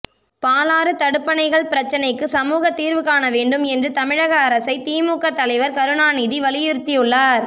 பாலாறு தடுப்பணைகள் பிரச்சினைக்கு சுமூக தீர்வுகாண வேண்டும் என்று தமிழக அரசை திமுக தலைவர் கருணாநிதி வலியுறுத்தியுள்ளார்